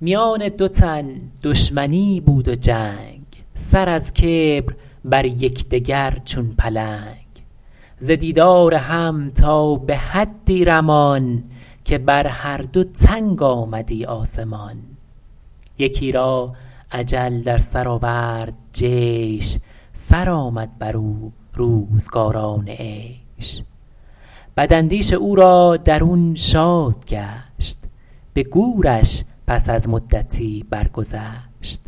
میان دو تن دشمنی بود و جنگ سر از کبر بر یکدگر چون پلنگ ز دیدار هم تا به حدی رمان که بر هر دو تنگ آمدی آسمان یکی را اجل در سر آورد جیش سرآمد بر او روزگاران عیش بداندیش او را درون شاد گشت به گورش پس از مدتی برگذشت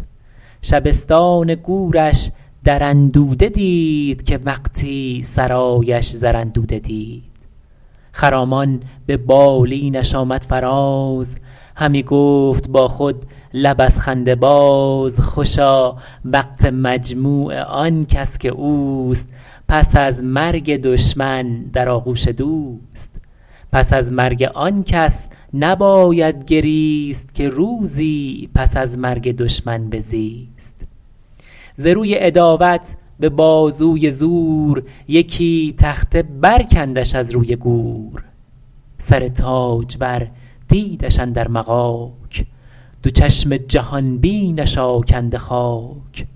شبستان گورش در اندوده دید که وقتی سرایش زر اندوده دید خرامان به بالینش آمد فراز همی گفت با خود لب از خنده باز خوشا وقت مجموع آن کس که اوست پس از مرگ دشمن در آغوش دوست پس از مرگ آن کس نباید گریست که روزی پس از مرگ دشمن بزیست ز روی عداوت به بازوی زور یکی تخته برکندش از روی گور سر تاجور دیدش اندر مغاک دو چشم جهان بینش آکنده خاک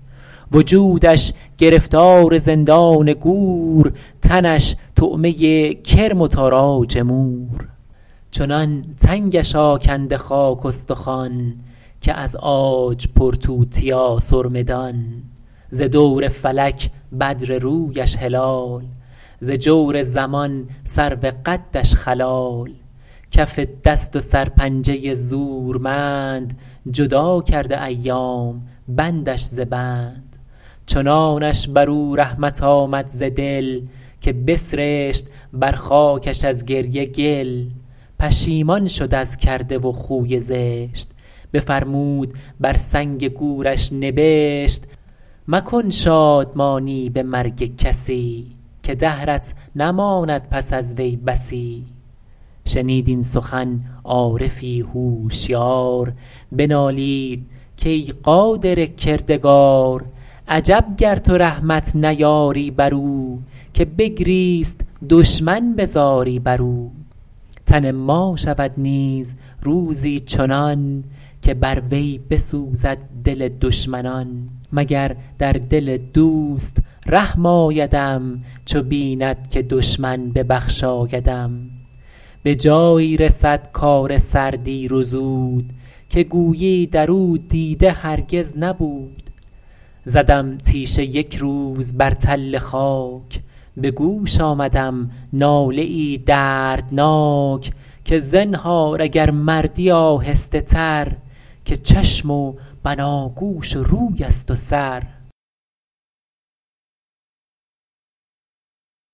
وجودش گرفتار زندان گور تنش طعمه کرم و تاراج مور چنان تنگش آکنده خاک استخوان که از عاج پر توتیا سرمه دان ز دور فلک بدر رویش هلال ز جور زمان سرو قدش خلال کف دست و سرپنجه زورمند جدا کرده ایام بندش ز بند چنانش بر او رحمت آمد ز دل که بسرشت بر خاکش از گریه گل پشیمان شد از کرده و خوی زشت بفرمود بر سنگ گورش نبشت مکن شادمانی به مرگ کسی که دهرت نماند پس از وی بسی شنید این سخن عارفی هوشیار بنالید کای قادر کردگار عجب گر تو رحمت نیاری بر او که بگریست دشمن به زاری بر او تن ما شود نیز روزی چنان که بر وی بسوزد دل دشمنان مگر در دل دوست رحم آیدم چو بیند که دشمن ببخشایدم به جایی رسد کار سر دیر و زود که گویی در او دیده هرگز نبود زدم تیشه یک روز بر تل خاک به گوش آمدم ناله ای دردناک که زنهار اگر مردی آهسته تر که چشم و بناگوش و روی است و سر